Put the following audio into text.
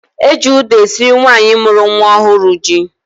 Eji ụda esiri nwaanyị mụrụ nwa ọhụrụ ji.